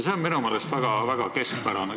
See on minu meelest väga keskpärane.